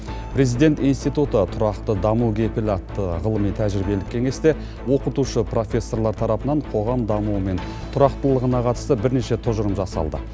президент институты тұрақты даму кепілі атты ғылыми тәжірибелік кеңесте оқытушы профессорлар тарапынан қоғам дамуы мен тұрақтылығына қатысты бірнеше тұжырым жасалды